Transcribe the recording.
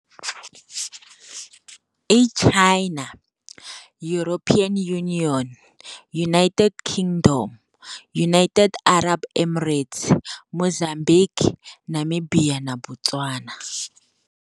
I China, European Unionm United Kingdom, Unite Arab Emirates, Mozambique, Namibia na Botswana.